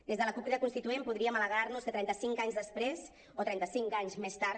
des de la cup crida constituent podríem alegrar nos que trenta cinc anys després o trenta cinc anys més tard